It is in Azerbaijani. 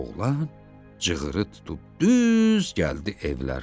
Oğlan cığırı tutub düz gəldi evlərinə.